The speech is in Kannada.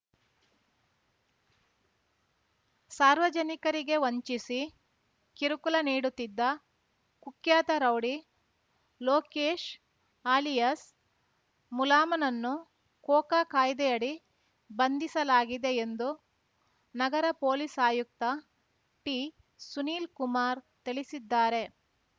ಸಾರ್ವಜನಿಕರಿಗೆ ವಂಚಿಸಿ ಕಿರುಕುಳ ನೀಡುತ್ತಿದ್ದ ಕುಖ್ಯಾತ ರೌಡಿ ಲೋಕೇಶ್‌ ಅಲಿಯಾಸ್‌ ಮುಲಾಮನನ್ನು ಕೋಕಾ ಕಾಯ್ದೆಯಡಿ ಬಂಧಿಸಲಾಗಿದೆ ಎಂದು ನಗರ ಪೊಲೀಸ್‌ ಆಯುಕ್ತ ಟಿಸುನೀಲ್‌ ಕುಮಾರ್‌ ತಿಳಿಸಿದ್ದಾರೆ